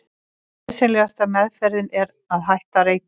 Nauðsynlegasta meðferðin er að hætta að reykja.